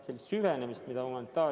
Humanitaaria nõuab teistsugust süvenemist.